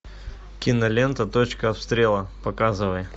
кинолента точка обстрела показывай